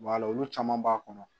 olu caman b'a kɔnɔ